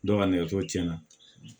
Dɔ ka nɛgɛso tiɲɛna